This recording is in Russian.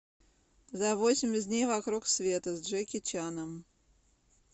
за восемьдесят дней вокруг света с джеки чаном